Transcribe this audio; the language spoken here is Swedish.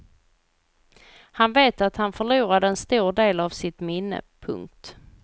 Han vet att han förlorade en stor del av sitt minne. punkt